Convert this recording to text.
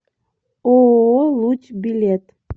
ооо луч билет